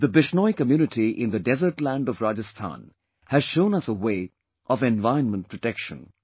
TheBishnoi community in the desert land of Rajasthan has shown us a way of environment protection